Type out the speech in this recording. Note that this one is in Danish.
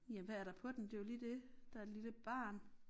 Ja hvad er der på den det jo lige det der er et lille barn